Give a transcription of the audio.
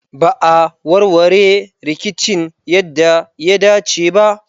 Ba a warware rikicin yadda ya dace ba.